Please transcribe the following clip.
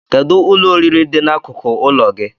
Kedụ ụlọ oriri dị n'akụkụ ụlọ gị?